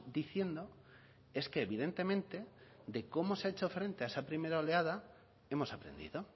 diciendo es que evidentemente de cómo se ha hecho frente a esa primera oleada hemos aprendido